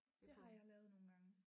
Det har jeg lavet nogle gange